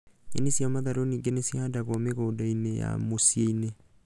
Nyeni cia matharũ ningĩ nĩcihandagwo mĩgũnda-inĩ ya mũciĩ-inĩ